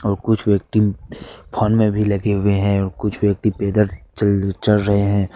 और कुछ व्यक्ति फोन में भी लगे हुए है और कुछ व्यक्ति पैदल चल चल रहे हैं।